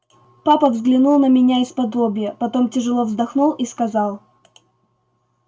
папа взглянул на меня исподлобья потом тяжело вздохнул и сказал